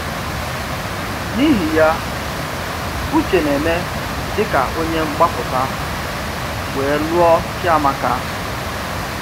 N’íhì́ yà, Ụ̀chè nà-ème dị̀ka ònyé mgbápụtà wéé lụọ Chíàmákà.